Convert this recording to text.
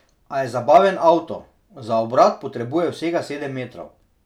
A je zabaven avto, za obrat potrebuje vsega sedem metrov.